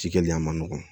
Cikɛli a ma nɔgɔn